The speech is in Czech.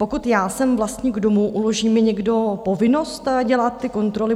Pokud já jsem vlastník domu, uloží mi někdo povinnost dělat ty kontroly?